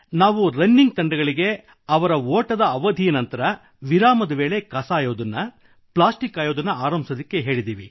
ನಾವು ರನ್ನಿಂಗ್ ತಂಡಗಳಿಗೆ ಅವರ ಓಟದ ಅವಧಿಯ ನಂತರ ವಿರಾಮದ ವೇಳೆ ಕಸ ಆಯುವುದನ್ನು ಪ್ಲಾಸ್ಟಿಕ್ ಆಯುವುದನ್ನು ಆರಂಭಿಸುವಂತೆ ಹೇಳಿದೆವು